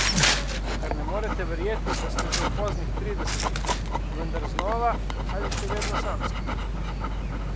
Kar ne morete verjeti, da ste že v poznih tridesetih, vendar znova ali še vedno samski?